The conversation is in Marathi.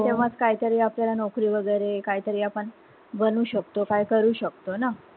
तेव्हाच कायतरी आपल्याला नोकरी वैगेरे काय तरी आपण बनू शकतो काई करू शकतो ना